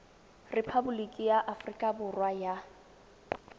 repaboliki ya aforika borwa ya